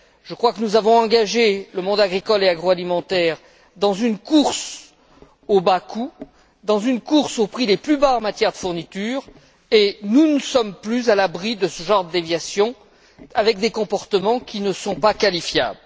Je crois que nous avons engagé le monde agricole et agroalimentaire dans une course aux bas coûts, dans une course aux prix les plus bas en matière de fourniture et nous ne sommes plus à l'abri de ce genre de déviation avec des comportements qui ne sont pas qualifiables.